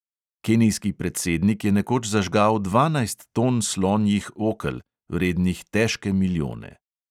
Kenijski predsednik je nekoč zažgal dvanajst ton slonjih okel, vrednih težke milijone.